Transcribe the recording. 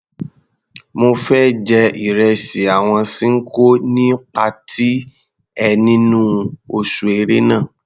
Mo fẹ́ jẹ ìresì àwọn Ṣinkó ní patí ẹ nínú oṣù Ẹ̀rẹnà.